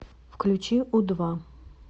включи у два